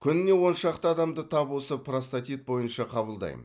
күніне он шақты адамды тап осы простатит бойынша қабылдаймын